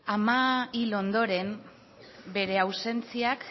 ama hil ondoren bere ausentziak